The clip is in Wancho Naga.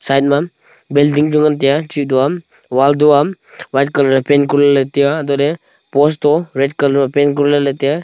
side ma building chu ngan tai a chidao am wan dua am wall to aa white colour e paint kori le tai a antoh le post to red colour ma paint kori le tai a.